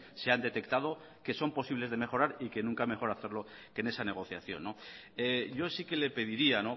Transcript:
se han detectado que son posibles de mejorar y que nunca mejor hacerlo que en esa negociación yo sí que le pediría